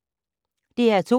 DR2